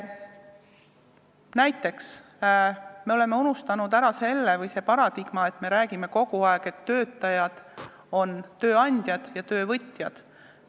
Näiteks, see paradigma, et me räägime kogu aeg tööandjatest ja töövõtjatest.